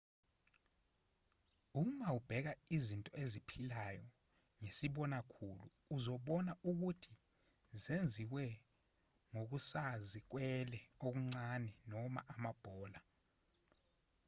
uma ubheka izinto eziphilayo ngesibona khulu uzobona ukuthi zenziwe ngokusazikwele okuncane noma amabhola